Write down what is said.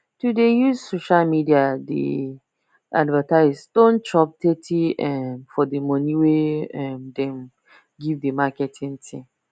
to dey use social media take dey advertise don chop thirty um for the money wey um them give the marketing team